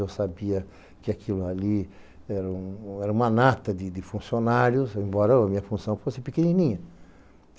Eu sabia que aquilo ali era uma nata de funcionários, embora a minha função fosse pequenininha.